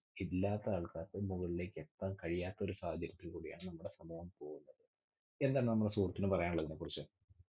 ഇല്ലാത്ത ആൾക്കാർക്ക് മുകളിലേക്ക് എത്താൻ കഴിയാത്ത ഒരു സാഹചര്യത്തിൽ കൂടിയാണ് നമ്മുടെ സമൂഹം പോകുന്നത്. എന്താ നമ്മുടെ സുഹൃത്തിന് പറയാനുള്ളത് ഇതിനെക്കുറിച്ച്?